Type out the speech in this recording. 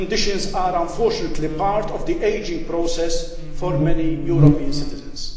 These conditions are, unfortunately, part of the ageing process for many European citizens.